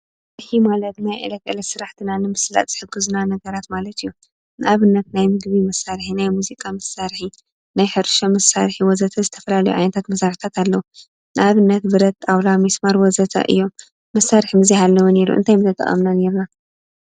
መሳርሒ ማለት ናይ ዕለተ ዕለት መሳርሒትና ንምስላጥ ዝጠቅሙና ነገራት ማለት እዩ፡፡ ንኣብነት ናይ ምግቢ መሳርሒ፣ ናይ ሙዚቃ መሳርሒ፣ ናይ ሕርሻ መሳርሒ ወዘተ ዝተፈላለዩ መሳርሕታት ኣለው፡፡ ንኣብነት ብረት፣ ጣውላ፣ ምስማር ወዘተ እዮም፡፡ መሳርሒ ተዘይህሉ እንታይ ምተጠቀምና ነይርና ?